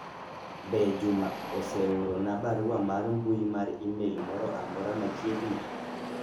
be Juma oseoro na barua mar mbui mar email moro amora machiegni